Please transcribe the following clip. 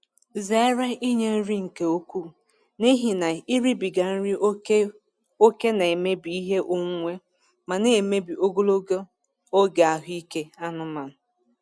Zere inye nri nke ukwuu n'ihi na iribiga nri ókè ókè na-emebi ihe onwunwe ma na-emebi ogologo oge ahụ ike anụmanụ.